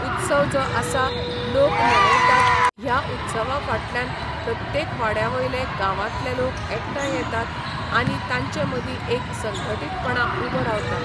उत्सव जो आसा लोक मनयतात ह्या उत्सवा फाटल्यान प्रत्येक वाड्यावयले गांवातले लोक एकटांय येतात आनी तांचे मदी एक संघटीतपणां उबो रावता